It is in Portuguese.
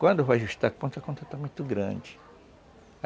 Quando vai ajustar a conta, a conta está muito grande.